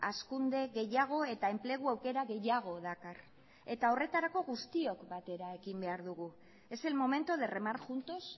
hazkunde gehiago eta enplegu aukera gehiago dakar eta horretarako guztiok batera ekin behar diogu es el momento de remar juntos